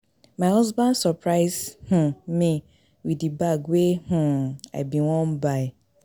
My husband surprise um me with the bag wey um I bin wan buy